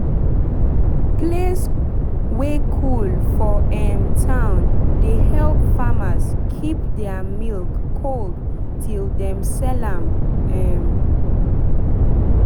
place wey cool for um town dey help farmers keep their milk cold till dem sell am um